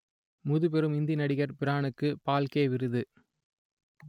முதுபெரும் இந்தி நடிகர் பிரானுக்கு பால்கே விருது